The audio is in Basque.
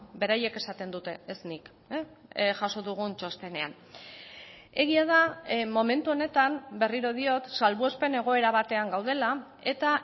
beraiek esaten dute ez nik jaso dugun txostenean egia da momentu honetan berriro diot salbuespen egoera batean gaudela eta